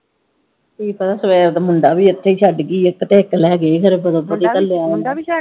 ਕੀ ਪਤਾ, ਸਵੇਰ ਦਾ ਮੁੰਡਾ ਵੀ ਇਥੇ ਛੱਡ ਗਈ ਇਕ ਤੇ ਇਕ ਲੈ ਗਈ ਕਰੇ